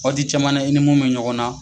Wagati caman na i ni mun bɛ ɲɔgɔn na.